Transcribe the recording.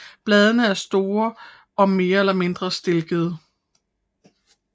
Bladene er store og mere eller mindre stilkede